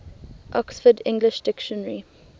oxford english dictionary